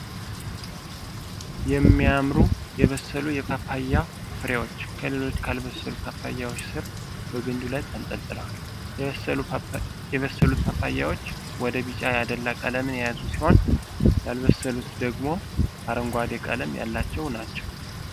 የሚያማምሩ የበሰሉ የፓፓያ ፍሬዎች ከሌሎች ካልበሰሉ ፓፓያዎች ስር በግንዱ ላይ ተንጠልጥለዋል። የበሰሉት ፓፓያዎች ወደ ቢጫ ያደላ ቀለምን የያዙ ሲሆን ያልበሰሉት ደግሞ አረንጓዴ ቀለም ያላቸው ናቸው።